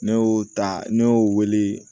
Ne y'o ta ne y'o wele